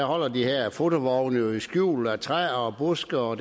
holder de her fotovogne jo i skjul af træer og buske og